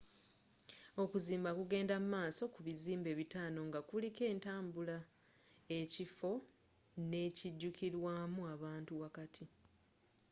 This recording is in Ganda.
okuzimba kugenda mu maaso ku bizimbe bitano nga kuliko entambula ekifo n'ekijukilwamu abantu wakati